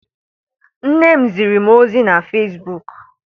Nne m ziri m ozi na Fesbuk.